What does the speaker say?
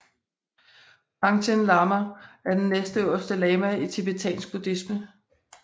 Panchen Lama er den næstøverste lama i tibetansk buddhisme